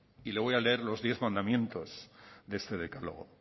y le voy a leer los diez mandamientos de este decálogo